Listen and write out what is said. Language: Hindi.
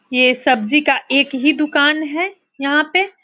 ये सब्जी का एक ही दुकान है। यहाँ पे --